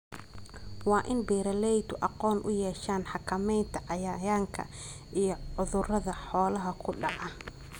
Waa in beeralaydu aqoon u yeeshaan xakamaynta cayayaanka iyo cudurrada xoolaha ku dhaca.